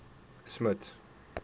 smuts